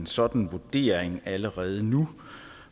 sådan en vurdering allerede nu